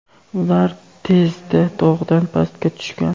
ular tezda tog‘dan pastga tushgan.